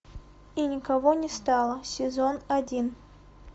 и никого не стало сезон один